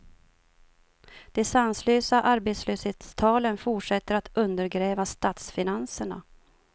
De sanslösa arbetslöshetstalen fortsätter att undergräva statsfinanserna.